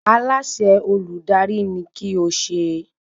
Aláṣẹ Olùdarí ni kí o se